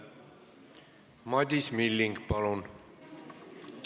Madis Milling, palun!